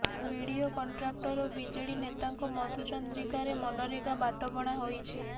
BDO contractor ଓ BJD ନେତାଙ୍କ ମଧୁଚନ୍ଦ୍ରିକାରେ ମନରେଗା ବାଟବଣା ହୋଇଛି